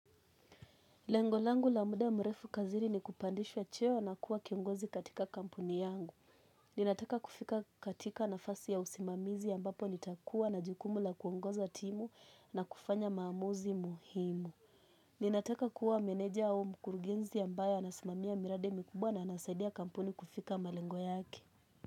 Lengo langu la muda mrefu kazini ni kupandishwa cheo na kuwa kiongozi katika kampuni yangu. Ninataka kufika katika nafasi ya usimamizi ambapo nitakuwa na jukumu la kuongoza timu na kufanya maamuzi muhimu. Ninataka kuwa meneja au mkurugenzi ambaye anasimamia miradi mikubwa na anasaidia kampuni kufika malengo yake.